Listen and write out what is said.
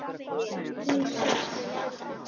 Hún sest.